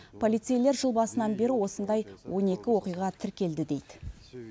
полицейлер жыл басынан бері осындай он екі оқиға тіркелді дейді